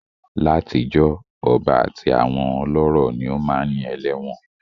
Látijọ́, ọba àti àwọn ọlọ́rọ̀ ni ó máá ń ní ẹlẹ́wọ̀n